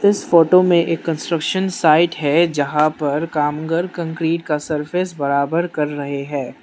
इस फोटो में एक कंस्ट्रक्शन साइट है जहां पर कामगर कंक्रीट का सरफेस बराबर कर रहे हैं।